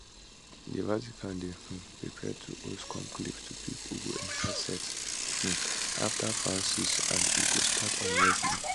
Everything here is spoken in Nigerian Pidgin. di vatican dey um prepare to host conclave to pick who go enta set um afta francis and e go start on wednesday